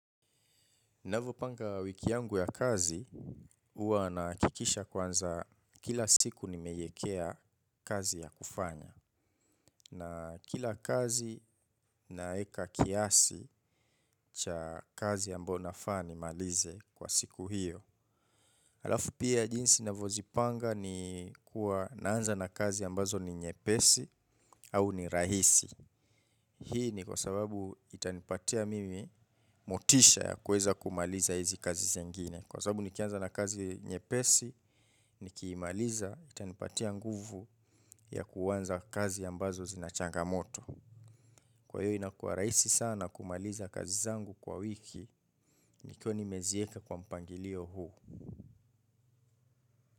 Navopanga wiki yangu ya kazi huwa nahakikisha kwanza kila siku nimeiekea kazi ya kufanya. Na kila kazi naweka kiasi cha kazi ambayo nafaa nimalize kwa siku hiyo. Halafu pia jinsi navozipanga ni huwa naanza na kazi ambazo ni nyepesi au ni rahisi. Hii ni kwa sababu itanipatia mimi motisha ya kuweza kumaliza hizi kazi zengine. Kwa sababu nikianza na kazi nyepesi, nikimaliza, itanipatia nguvu ya kuanza kazi ambazo zina changamoto. Kwa hiyo inakua rahisi sana kumaliza kazi zangu kwa wiki nikiwa nimeziweka kwa mpangilio huu.